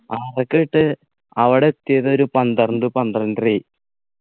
ആറരക്ക് പോയിട്ട് അവിടെ എത്തിയത് ഒരുപന്ത്രണ്ട് പന്ത്രണ്ടരയായി